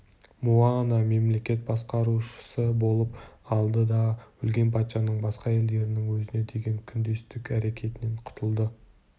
муана мемлекет басқарушысы болып алды да өлген патшаның басқа әйелдерінің өзіне деген күндестік әрекетінен құтылды